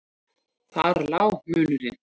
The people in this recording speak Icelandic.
Þar lá munurinn.